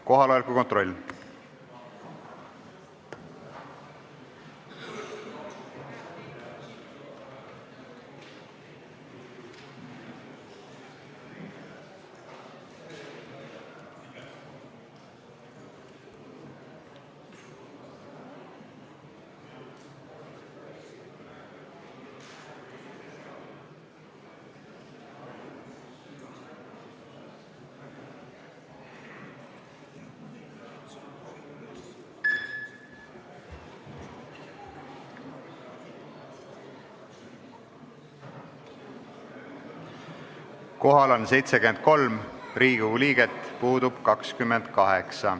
Kohaloleku kontroll Kohal on 73 Riigikogu liiget, puudub 28.